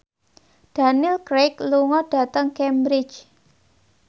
Daniel Craig lunga dhateng Cambridge